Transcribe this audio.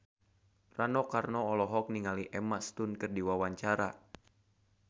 Rano Karno olohok ningali Emma Stone keur diwawancara